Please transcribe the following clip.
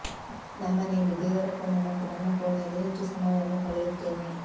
ನಮ್ಮನೆಯಲ್ಲಿ ದೇವರ ಕೋಣೆ ಮತ್ತು ನನ್ನ ಕೋಣೆಯಲ್ಲಿ ಹೆಚ್ಚು ಸಮಯವನ್ನು ಕಳೆಯುತ್ತೇನೆ